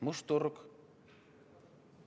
Must turg?